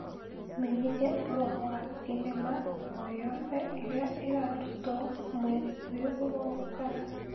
menyithia ũhoro wa thenema o yothe ĩrĩa ĩrarutwo mweri ũyũ ũroka